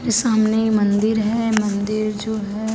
सामने ये मंदिर है मंदिर जो है।